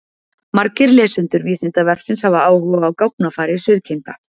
Margir lesendur Vísindavefsins hafa áhuga á gáfnafari sauðkinda.